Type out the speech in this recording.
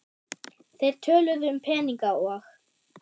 Þeir töluðu um peninga og